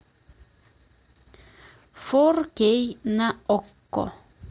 фор кей на окко